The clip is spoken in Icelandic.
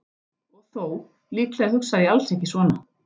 Og þó, líklega hugsaði ég alls ekki svona.